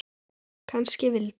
Kannski vildi